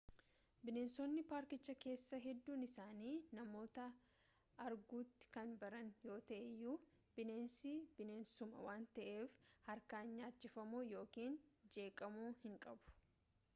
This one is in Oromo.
bineensonni paarkicha keessaa hedduun isaanii namoota arguutti kan baran yoo ta'e iyyuu bineensi bineensuma waan ta'eef harkaan nyaachifamuu yookaan jeeqamuu hinqabu